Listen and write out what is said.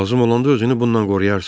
Lazım olanda özünü bundan qoruyarsan.